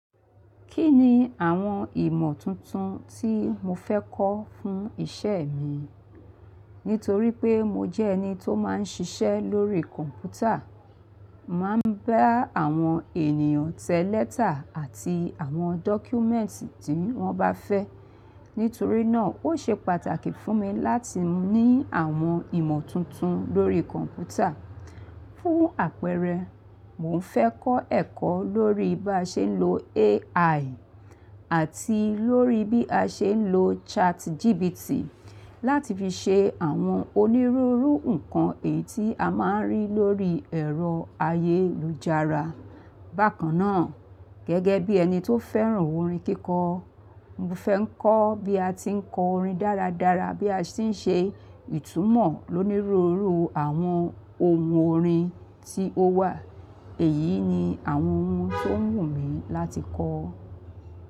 Kí ni àwọn ìmọ̀ tuntun tí mo fẹ́ kọ́ fún ìṣẹ mi? Nítorí pé mo jẹ́ ẹni tó máa ń ṣiṣẹ́ lórí kọ̀ǹpútà, màá ń bá àwọn ènìyàn tẹ lẹ́tà àti àwọn dọ́kúmẹ́ǹtì tí wọ́n bá fẹ́. Nítorí náà ó ṣe pàtàkì fún mi láti ní àwọn ìmọ̀ tuntun lórí kọ̀ǹpútà. Fún àpẹẹrẹ, mò ń fẹ́ kọ́ ẹ̀kọ́ lórí bí a ṣe ń lo AI àti lórí bí a ṣe ń lo ChatGPT láti fi ṣe àwọn onírúurú nǹkan èyí tí a máa ń rí lórí ẹ̀rọ ayélujára. Bákan náà, gẹ́gẹ́ bí ẹni tó fẹ́ràn orin kíkọ, mo fẹ́ ń kọ́ bí a ti ń kọ orin dáradára bí a sì ń ṣe ìtumọ̀ lónírúurú àwọn ohun orin tí ó wà. Èyí ni àwọn ohun tó wù mí láti kọ́.